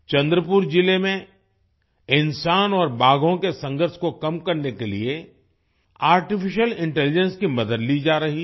चंद्रपुर जिले में इंसान और बाघों के संघर्ष को कम करने के लिए आर्टिफिशियल इंटेलिजेंस की मदद ली जा रही है